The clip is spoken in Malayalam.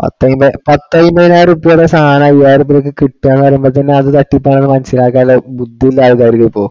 പത്തഅയ്മ്പ് ~ പത്തഅയ്മ്പത്തിനായിരം രൂപ്യയെടെ സാധനമാ ഐയ്യയിരിത്തിന് ഒക്കെ കിട്ടുക എന്ന് പറയുമ്പോ അത് തട്ടിപ്പാണെന്നു മനസ്സിലാക്കാനുള്ള ബുദ്ധിയില്ലാതായി ആർക്കും ഇപ്പൊ